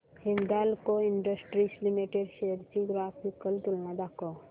Hindalco industries limited shares ची graphical तुलना दाखव